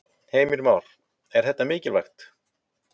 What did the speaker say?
Heimir Már: Er þetta mikilvægt?